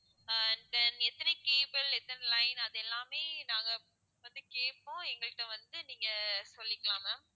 ஆஹ் then எத்தனை cable எத்தனை line அதெல்லாமே நாங்க வந்து கேட்போம் எங்ககிட்ட வந்து நீங்க சொல்லிக்கலாம் ma'am